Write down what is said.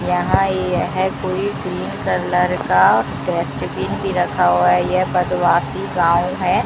यहां यह कोई ग्रीन कलर का डस्टबीन भी रखा हुआ है यह बदवाशी गांव है।